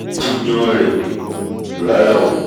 n kò jiyàn rẹ̀ rárá o